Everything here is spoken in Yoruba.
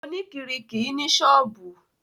Oníkiiri kìí ní ṣọ́ọ̀bù.